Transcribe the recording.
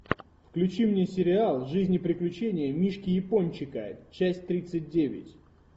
включи мне сериал жизнь и приключения мишки япончика часть тридцать девять